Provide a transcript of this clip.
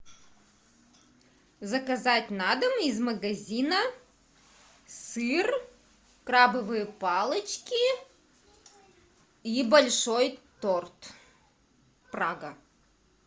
заказать на дом из магазина сыр крабовые палочки и большой торт прага